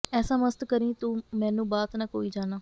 ਐਸਾ ਮਸਤ ਕਰੀਂ ਤੂੰ ਮੈਨੂੰ ਬਾਤ ਨਾ ਕੋਈ ਜਾਨਾ